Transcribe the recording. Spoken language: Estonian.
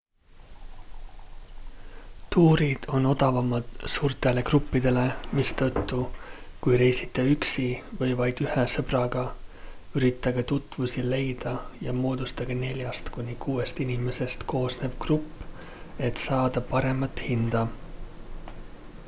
tuurid on odavamad suurtele gruppidele mistõttu kui reisite üksi või vaid ühe sõbraga üritage tutvusi leida ja moodustage neljast kuni kuuest inimesest koosnev grupp et saada paremat hinda